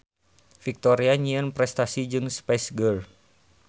Victoria nyieun prestasi jeung Spice Girls.